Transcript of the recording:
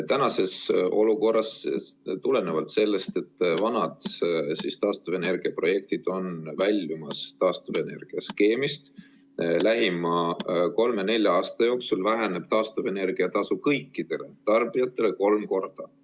Tänases olukorras, tulenevalt sellest, et vanad taastuvenergia projektid on väljumas taastuvenergia skeemist, lähema kolme-nelja aasta jooksul väheneb taastuvenergia tasu kõikidele tarbijatele kolm korda.